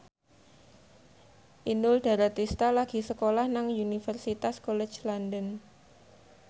Inul Daratista lagi sekolah nang Universitas College London